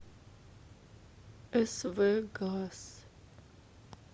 св газ